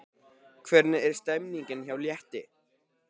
Hvernig er stemningin hjá Létti?